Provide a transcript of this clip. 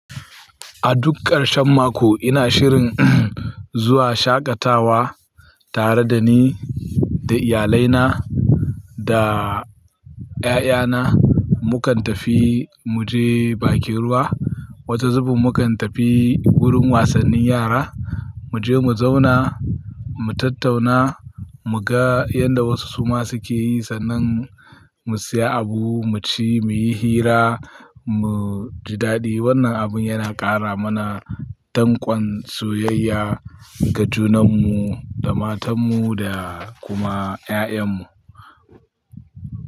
A duk ƙarshen mako ina shirin zuwa shaƙatawa tare da ni, da iyalai na da ƴaƴa na. Mu kan tafi mu je bakin ruwa. Wata zubin mu kan tafi wurin wasannin yara, mu je mu zauna, mu tattauna, mu ga yanda wasu su ma su ke yi sannan mu siya abu, mu ci, muyi hira, mu ji daɗi. Wannan abun yana ƙara mana danƙon soyayya ga junan mu, da matan mu da kuma ƴaƴan mu.